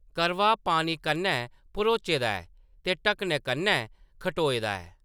करवा पानी कन्नै भरोचे दा ऐ ते ढक्कनै कन्नै खटोए दा ऐ।